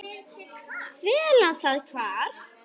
Fela það hvar?